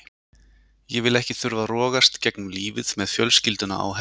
Ég vil ekki þurfa að rogast gegnum lífið með fjölskylduna á herðunum.